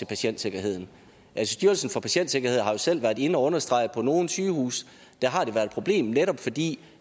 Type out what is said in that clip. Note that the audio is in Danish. patientsikkerheden styrelsen for patientsikkerhed har jo selv været inde og understrege at det på nogle sygehuse har været et problem netop fordi